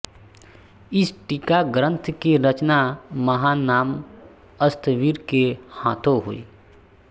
इस टीका ग्रंथ की रचना महानाम स्थविर के हाथों हुई